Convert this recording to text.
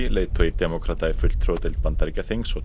leiðtogi demókrata í fulltrúadeild Bandaríkjaþings og